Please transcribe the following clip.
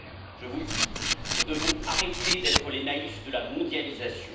Je vous le dis, nous devons arrêter d'être les naïfs de la mondialisation.